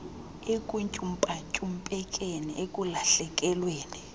ekuntyumpa ntyumpekeni ekulahlekelweni